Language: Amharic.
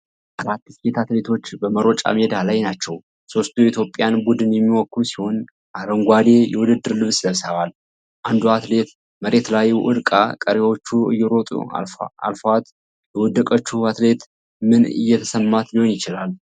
አራት ሴት አትሌቶች በመሮጫ ሜዳ ላይ ናቸው። ሦስቱ የኢትዮጵያን ቡድን የሚወክሉ ሲሆን አረንጓዴ የውድድር ልብስ ለብሰዋል። አንዷ አትሌት መሬት ላይ ወድቃ ቀሪዎቹ እየሮጡ አለፏት። የወደቀችው አትሌት ምን እየተሰማት ሊሆን ይችላል?